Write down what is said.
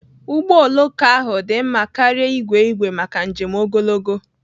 Ụgbọ oloko ahụ dị mma karịa igwe igwe maka njem ogologo.